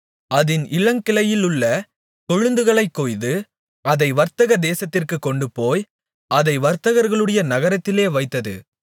அதின் இளங்கிளையிலுள்ள கொழுந்துகளைக்கொய்து அதை வர்த்தக தேசத்திற்குக் கொண்டுபோய் அதை வர்த்தகர்களுடைய நகரத்திலே வைத்தது